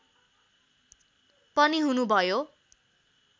पनि हुनुभयो